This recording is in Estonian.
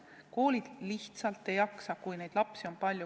Koolid lihtsalt ei jaksa, kui neid lapsi on palju.